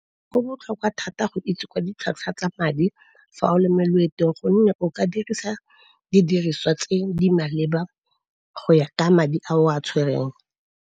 Go botlhokwa thata go itse ka ditlhwatlhwa tsa madi fa o le moloetong gonne o ka dirisa didiriswa tse di maleba go ya ka madi a o a tshwereng.